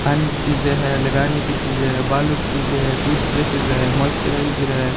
खाने की चीजे है लगाने की चीजे है बालों की चीजे है टूथब्रशेस है मॉइश्चराइजर है।